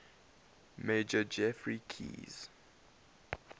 major geoffrey keyes